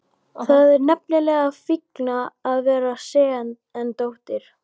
Það er nefnilega fínna að vera sen en dóttir.